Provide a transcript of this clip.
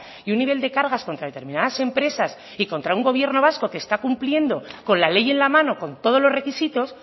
y un nivel de cargas contra determinadas empresas y contra un gobierno vasco que está cumpliendo con la ley en la mano con todos los requisitos